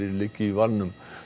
liggi í valnum